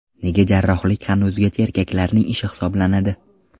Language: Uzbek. Nega jarrohlik hanuzgacha erkaklarning ishi hisoblanadi?.